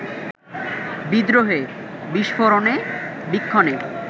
বিদ্রোহে, বিস্ফোরণে, বীক্ষণে